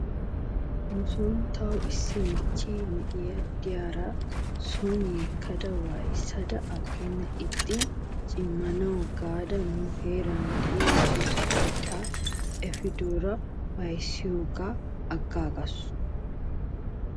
Nuson taw issi michchee na'a diyaara son yeekadanne waayissada aggenan ixxidaaro cimmanaw gaada nu heeran de'iyaa juuse keettaa efidoora waayissiyoogaa agaagasu.